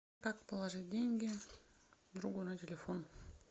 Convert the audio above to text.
как положить деньги другу на телефон